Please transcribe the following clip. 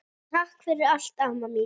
Takk fyrir allt, amma mín.